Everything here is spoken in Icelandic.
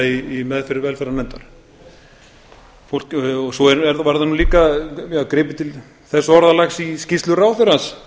í meðferð velferðarnefndar svo er þetta bara eina gripið til þess orðalags í skýrslu ráðherrans